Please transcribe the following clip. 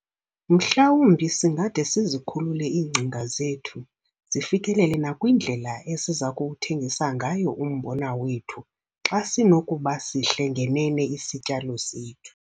Mhlawumbi singade sizikhulule iingcinga zethu zifikelele nakwindlela esiza kuwuthengisa ngayo umbona wethu xa sinokuba sihle ngenene isityalo sethu!